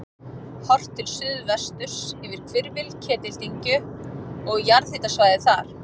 Horft til suðvesturs yfir hvirfil Ketildyngju og jarðhitasvæðið þar.